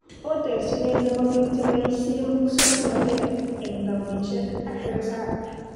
Oo terjinet nebo biik cheboisie musoknotet eng townnishek ak risop